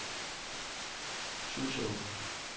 Suså